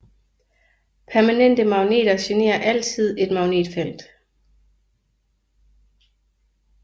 Permanente magneter genererer altid et magnetfelt